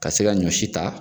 Ka se ka ɲɔ si ta.